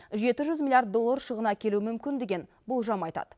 жеті жүз миллиард доллар шығын әкелуі мүмкін деген болжам айтады